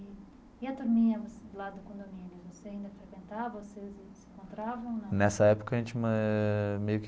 E a turminha lá do condomínio, você ainda frequentava, vocês se encontravam ou não? Nessa época a gente ãh meio que.